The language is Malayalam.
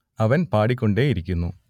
അവൻ പാടിക്കൊണ്ടേയിരിക്കുന്നു